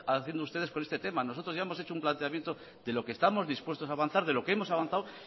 haciendo ustedes con este tema nosotros ya hemos hecho un planteamiento de lo que estamos dispuestos a avanzar de lo que hemos avanzado